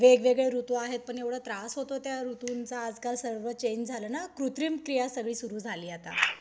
वेगवेगळे ऋतू आहेत पण एवढा त्रास होतो त्या ऋतूंचा आजकाल सर्व चेंज झालं ना. कृत्रिम क्रिया सगळी सुरु झाली आता